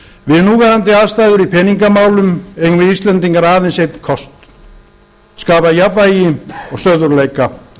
við núverandi aðstæður í peningamálum eigum við íslendingar aðeins einn kost að skapa jafnvægi og stöðugleika